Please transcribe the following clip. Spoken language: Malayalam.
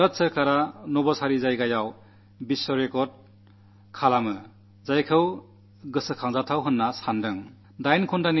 ഭാരത സർക്കാർ നവസാരിയുടെ മണ്ണിൽ ലോകറെക്കാർഡ് സ്ഥാപിച്ചത് വളരെ മഹത്തായ കാര്യമാണെന്നു ഞാൻ കണക്കാക്കുന്നു